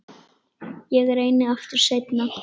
Ég reyni aftur seinna